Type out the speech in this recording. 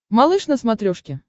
малыш на смотрешке